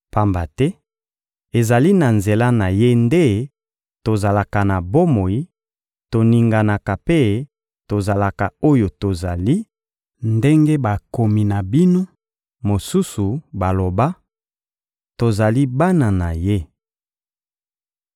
Pamba te, ezali na nzela na Ye nde tozalaka na bomoi, toninganaka mpe tozalaka oyo tozali, ndenge bakomi na bino mosusu baloba: «Tozali bana na ye!»